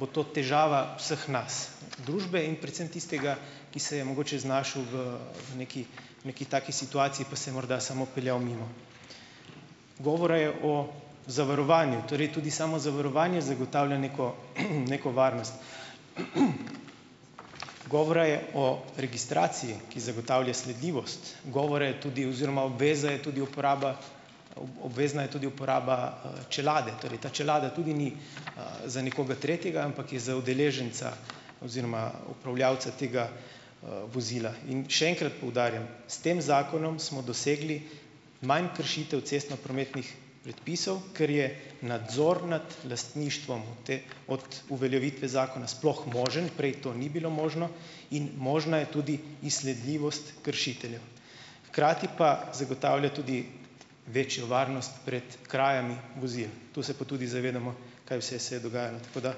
bo to težava vseh nas, družbe in predvsem tistega, ki se je mogoče znašel v neki, neki taki situaciji, pa se je morda samo peljal mimo. Govora je o zavarovanju. Torej tudi samo zavarovanje zagotavlja neko, neko varnost. Govora je o registraciji, ki zagotavlja sledljivost. Govora je tudi oziroma obveza je tudi uporaba obvezna je tudi uporaba, čelade, torej ta čelada tudi ni, za nekoga tretjega, ampak je za udeleženca oziroma upravljavca tega, vozila. In še enkrat poudarjam, s tem zakonom smo dosegli manj kršitev cestnoprometnih predpisov, ker je nadzor nad lastništvom od od uveljavitve zakona sploh možen, prej to ni bilo možno, in možna je tudi izsledljivost kršiteljev. Hkrati pa zagotavlja tudi večjo varnost pred krajami vozil. To se pa tudi zavedamo, kaj vse se je dogajalo. Tako da ...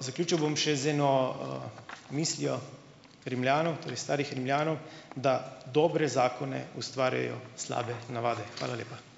Zaključil bom še z eno, mislijo Rimljanov, torej starih Rimljanov, da dobre zakone ustvarjajo slabe navade. Hvala lepa.